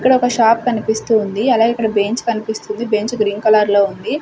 ఇక్కడ ఒక షాప్ కనిపిస్తూ ఉంది అలాగే ఇక్కడ బెంచ్ కనిపిస్తూ ఉంది బెంచ్ గ్రీన్ కలర్ లో ఉంది.